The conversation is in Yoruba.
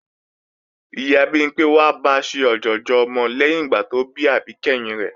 Ìyá Bimpé wá ba ṣe ọ̀jọ̀jọ̀ ọmọ lẹ́yìn ìgbà tó bí àbí kẹ́hìn rẹ̀